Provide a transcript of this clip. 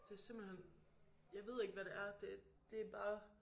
Det simpelthen jeg ved ikke hvad det er det bare